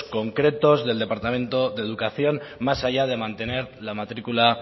concretos del departamento de educación más allá de mantener la matricula